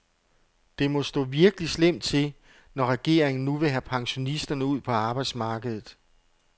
Det må stå virkelig slemt til, når regeringen nu vil have pensionisterne ud på arbejdsmarkedet.